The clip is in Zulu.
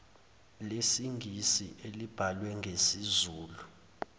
lesingisi elibhalwe ngokwesizulu